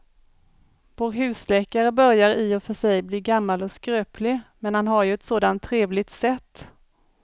Vår husläkare börjar i och för sig bli gammal och skröplig, men han har ju ett sådant trevligt sätt!